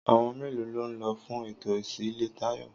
Àwon mélòó ló n lo fún ètò ìsílé Táyò?